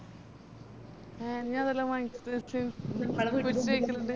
A നീ അതെല്ലാം വാങ്ങി